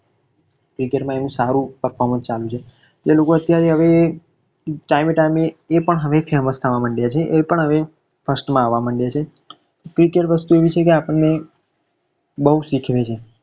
cricket માં હવે સારુ performance ચાલે છે તો લોકો અત્યારે હવે time એ time એ લોકો પણ હવે famous થવા માંડ્યા છે. એ પણ હવે first માં આવવા લાગ્યા છે cricket વસ્તુ આવી છે કે આપણને બહુ શીખવે છે.